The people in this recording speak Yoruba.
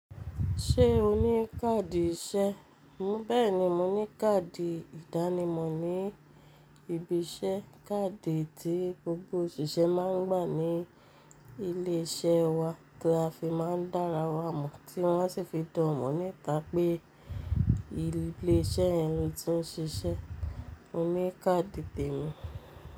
Ṣé o ní káàdì iṣẹ́? Bẹ́ẹ̀ni mo ní káàdì ìdánimọ̀ ní ibi iṣẹ́. Káàdì tí gbogbo òṣìṣẹ́ máa ń gbà ní ilé iṣẹ́ wa tí a fi máa ń dára wá mọ̀, tí wọ́n sì fi dá o mọ̀ níta pé ilé iṣẹ́ yen lo tí ń ṣiṣẹ́. Mo ní káàdì tèmi.